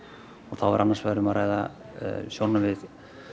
þá er annars vegar um að ræða sjónarmið